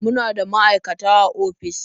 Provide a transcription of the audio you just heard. Muna da maaikata a ofis.